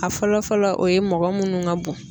A fɔlɔ fɔlɔ o ye mɔgɔ munnu ka bon.